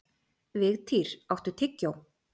Vigtýr, áttu tyggjó?